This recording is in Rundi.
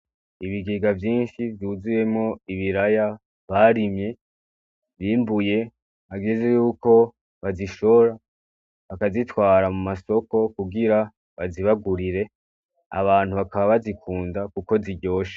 Ibigega vyinshi vyuzuyemwo ibiraya barimye, bimbuye, hageze yuko bazishora, bakazitwara mu masoko kugira bazibagurire; abantu bakaba bazikunda kuko ziryoshe.